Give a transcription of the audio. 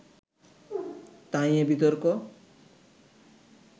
তা নিয়ে বিতর্ক